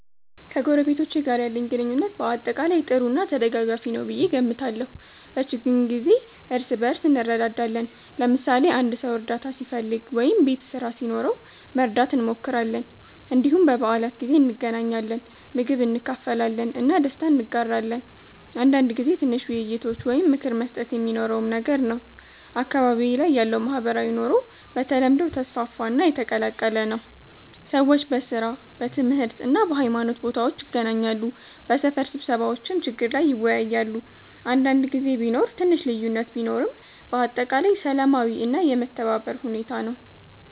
ከጎረቤቶቼ ጋር ያለኝ ግንኙነት በአጠቃላይ ጥሩ እና ተደጋጋፊ ነው ብዬ እገምታለሁ። በችግኝ ጊዜ እርስ በእርስ እንረዳዳለን፣ ለምሳሌ አንድ ሰው እርዳታ ሲፈልግ ወይም ቤት ስራ ሲኖረው መርዳት እንሞክራለን። እንዲሁም በበዓላት ጊዜ እንገናኛለን፣ ምግብ እንካፈላለን እና ደስታ እንጋራለን። አንዳንድ ጊዜ ትንሽ ውይይቶች ወይም ምክር መስጠት የሚኖረውም ነገር ነው። አካባቢዬ ላይ ያለው ማህበራዊ ኑሮ በተለምዶ ተስፋፋ እና የተቀላቀለ ነው። ሰዎች በሥራ፣ በትምህርት እና በሃይማኖት ቦታዎች ይገናኛሉ፣ በሰፈር ስብሰባዎችም ችግር ላይ ይወያያሉ። አንዳንድ ጊዜ ቢኖር ትንሽ ልዩነት ቢኖርም በአጠቃላይ ሰላማዊ እና የመተባበር ሁኔታ ነው።